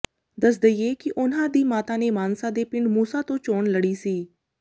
ਦੱਸ ਦਈਏ ਕਿ ਉਨ੍ਹਾਂ ਦੀ ਮਾਤਾ ਨੇ ਮਾਨਸਾ ਦੇ ਪਿੰਡ ਮੂਸਾ ਤੋਂ ਚੋਣ ਲੜੀ ਸੀ